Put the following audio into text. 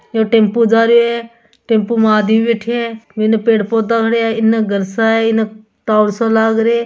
ये टेंपो जा रियो है टेंपो में आदमी बेठ्या हैं इने पेड़ पौधा पड़िया है इने घर सा है इने टोवर सो लाग रे --